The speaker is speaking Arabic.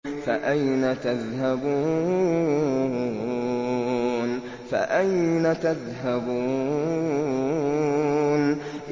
فَأَيْنَ تَذْهَبُونَ